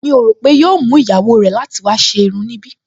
Mi ò rò pé yóò mú ìyàwó rẹ̀ láti wá ṣe irun níbí